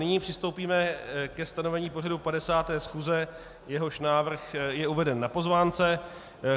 Nyní přistoupíme ke stanovení pořadu 50. schůze, jehož návrh je uveden na pozvánce.